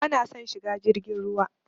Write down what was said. Bana son shiga jirgin ruwa.